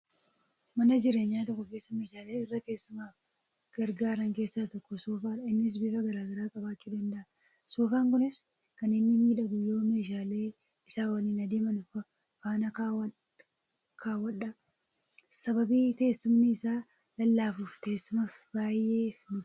Mana jireenya tokko keessa meeshaalee irra teessumaaf gargaaran keessa tokko Soofadha innis bifa garagaraa qabachuu danda'a, Soofan kunis kan inni miidhagu yoo meeshalee isa waliin adeeman faana kaawwadha .sababii teessumni isaa lallaafuuf teessumaaf baayyee mijataadha.